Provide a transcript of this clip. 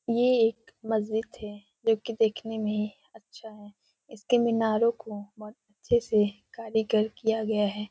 ये एक मस्जिद थे जोकि देखने में अच्छा है इसके मीनारों को बहोत अच्छे से कारीगर किया गया है।